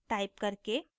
terminal पर type करके